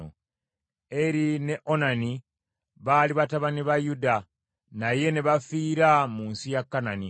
Eri ne Onani baali batabani ba Yuda, naye ne bafiira mu nsi ya Kanani.